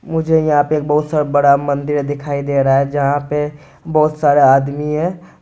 मझे यहाँ पे एक बहुत सारा बड़ा मंदिर दिखाई दे रहा है जहां पे बहुत सारे आदमी है।